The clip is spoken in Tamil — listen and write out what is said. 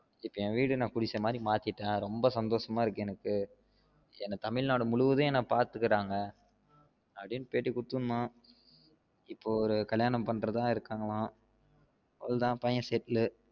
இப்ப என் வீட எனக்கு புடிச்சா மாரி மாத்திட்டேன் ரெம்ப சந்தோசம்மா இருக்கு எனக்கு என்ன தமிழ்நாடு முழுவதும் என்ன பாத்துகிறாங்க அப்டின்னு பேட்டி குடுதிருந்தான் இப்ப ஒரு கல்யாணம் பண்றதா இருகாங்கலாம் அவ்ளோ தான் பையன் settle